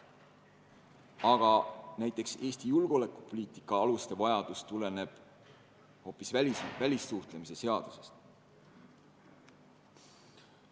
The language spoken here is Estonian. Samas näiteks Eesti julgeolekupoliitika aluste dokumendi vajadus tuleneb hoopis välissuhtlemisseadusest.